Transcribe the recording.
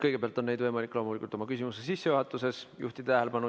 Kõigepealt on võimalik neile oma küsimuse sissejuhatuses tähelepanu juhtida.